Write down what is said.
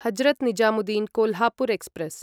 Hazrat Nizamuddin Kolhapur express